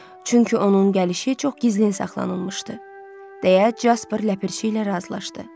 Çünki onun gəlişi çox gizlin saxlanılmışdı, deyə Casper ləpirçi ilə razılaşdı.